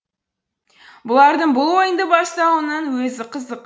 бұлардың бұл ойынды бастауының өзі қызық